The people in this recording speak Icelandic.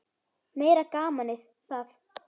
Meira gamanið það!